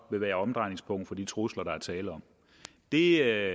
være omdrejningspunkt for de trusler der er tale om det